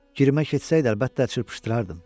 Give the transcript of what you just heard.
Kirmək getsəydi, əlbəttə, çırpışdırardım.